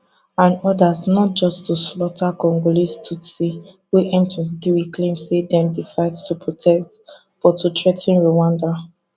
and odas not just to slaughter congolese tutsis wey m23 claim say dem dey fight to protect but to threa ten rwanda